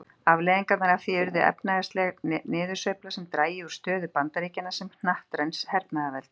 Afleiðingarnar af því yrðu efnahagsleg niðursveifla sem drægi úr stöðu Bandaríkjanna sem hnattræns hernaðarveldis.